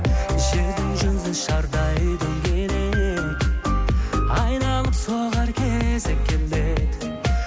жердің жүзі шардай дөңгелек айналып соғар кезек келеді